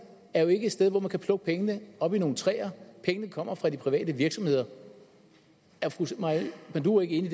er jo ikke et sted hvor man kan plukke pengene oppe i nogle træer pengene kommer fra de private virksomheder er fru maja panduro ikke enig